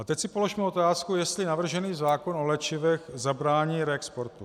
A teď si položme otázku, jestli navržený zákon o léčivech zabrání reexportům.